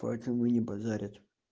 поэтому и не базарят